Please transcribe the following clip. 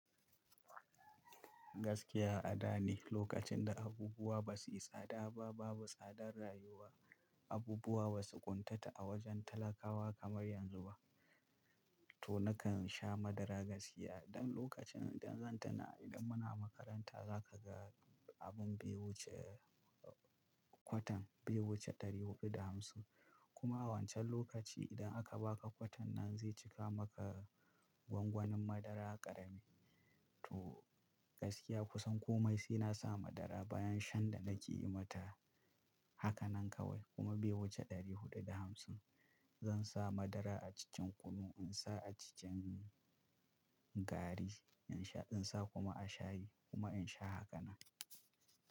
Gaskiya a da ne, lokacin da abubuwa ba su yi tsada ba, babu tsadar rayuwa, abubuwa ba su ƙuntata a wajen talakawa kamar yanzu ba. To nakan sha madara gaskiya, don lokacin idan zan tuna idan muna makaranta, za ka ga abun baiwuce kwatan, baiwuce 450. Kuma wancan lokaci idan aka ba ka kwatan nan zai cika maka gwangwanin madara ƙarami. To gaskiya kusan komai sai na sa madara bayan shan da nake yi mata. Haka nan kawai kuma baiwuce 450. Zan sa madara a cikin kunu, in sa a cikin gari, in sha, in sa kuma a shayi kuma in sha hakanan.